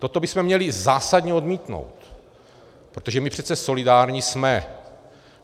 Toto bychom měli zásadně odmítnout, protože my přece solidární jsme.